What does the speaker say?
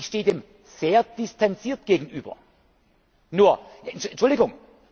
Ich stehe dem sehr distanziert gegenüber, nur Entschuldigung!